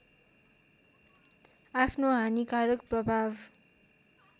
आफ्नो हानिकारक प्रभाव